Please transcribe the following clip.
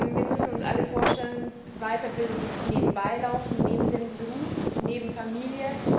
Wir müssen uns alle vorstellen, Weiterbildung muss nebenbei laufen, neben dem Beruf, neben der Familie.